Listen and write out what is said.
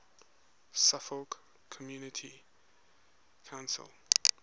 suffolk community council